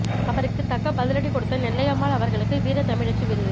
அவருக்கு தக்க பதிலடி கொடுத்த நெல்லையம்மாள் அவர்களுக்கு வீர தமிழச்சி விருது